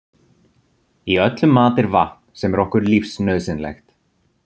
Í öllum mat er vatn sem er okkur lífsnauðsynlegt.